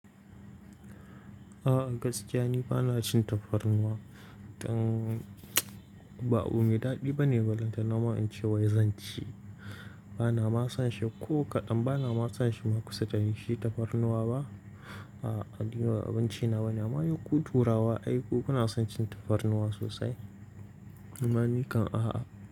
A'a gaskiya ni bana cin tafarnuwa. Dan ba abu mai daɗi bane balan ta. Na ma in ce wai zan ci, bana ma son shi ko kaɗan. Bana ma son shi ma kusa da yin shi tafarnuwa ba. A'a abinci na bane. Amma dai ku turawa ai ku suna son cin tafarnuwa sosai. Ni ma nikan a'a.